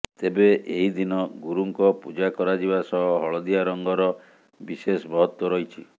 ତେବେ ଏହି ଦିନ ଗୁରୁଙ୍କ ପୂଜା କରାଯିବା ସହ ହଳଦିଆ ରଙ୍ଗର ବିଶେଷ ମହତ୍ତ୍ୱ ରହିଛି